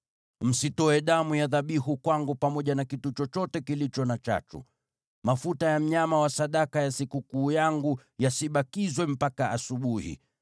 “Msitoe damu ya dhabihu kwangu pamoja na kitu chochote kilicho na chachu. “Mafuta ya mnyama wa sadaka ya sikukuu yangu yasibakizwe mpaka asubuhi.